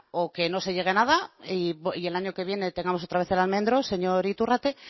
o que no se llegue a nada y el año que viene tengamos otra vez señor iturrate